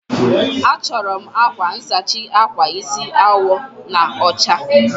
Achọrọ m akwa nsachi akwa isi awọ na ọcha.